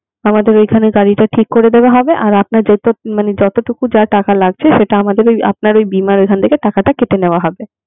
আমাদের ঐখানে গাড়িটা ঠিক করে দেওয়া হবে আর আপনার যত মানে যতটুকু যা টাকা লাগছে সেটা আমাদের ওই আপনার ওই বীমার ওখান থেকে কেটে নেয়া হবে.